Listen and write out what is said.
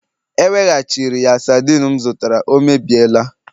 E weghachiri ya sardine m zụtara, ọ emebiela